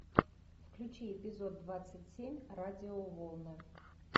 включи эпизод двадцать семь радиоволны